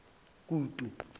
kutu